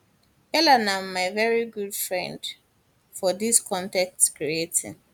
peller na my veri good friend good friend for dis con ten t creating